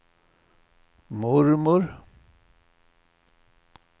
mormor